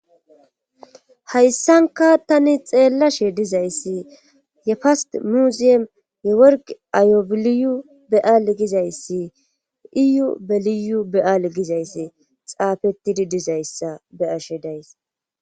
Hayssanka tani xeellashe dizayssi ye fast muziyam ye worg ayobiliyu be7aal gizayssi iyu beliyu be7aal gizayssi xaafetidi dizayssa be7ashe days.